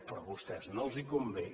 però a vostès no els convé